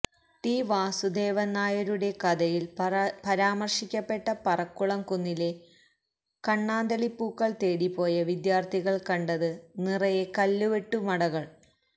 ടിവാസുദാവന്നായരുടെ കഥയില് പരാമര്ശിക്കപ്പെട്ട പറക്കുളം കുന്നിലെ കണ്ണാന്തളിപൂക്കള് തേടി പോയ വിദ്യാര്ഥികള് കണ്ടത് നിറയെ കല്ലുവെട്ടുമടകള്